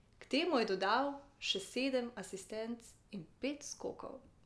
K temu je dodal še sedem asistenc in pet skokov.